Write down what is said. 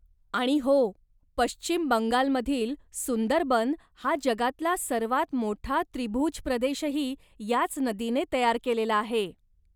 आणि हो, पश्चिम बंगाल मधील सुंदरबन हा जगातला सर्वात मोठा त्रिभुज प्रदेशही याच नदीने तयार केलेला आहे.